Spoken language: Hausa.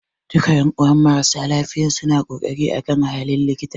Duka ƴan'uwan marasa lafiyan suna korafi akan halin likitan